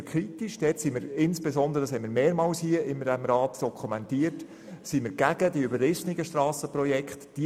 Dort sind wir kritisch und – wie wir dies mehrmals in diesem Rat dokumentiert haben – sprechen uns gegen überrissene Strassenprojekte aus.